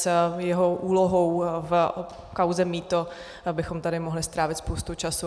S jeho úlohou v kauze mýto bychom tady mohli strávit spoustu času.